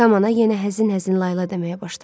Kamana yenə həzin-həzin layla deməyə başladı.